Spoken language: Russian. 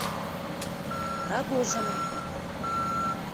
рогожина